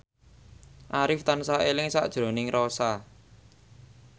Arif tansah eling sakjroning Rossa